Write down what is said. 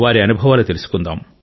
వారి అనుభవాలు తెలుసుకుందాం